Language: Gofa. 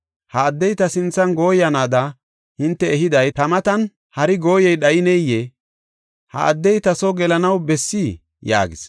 Ha addey ta sinthan gooyanaada hinte ehiday, ta matan hari gooyey dhayineyee? Ha addey ta soo gelanaw bessii?” yaagis.